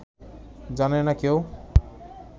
জানে না কেউ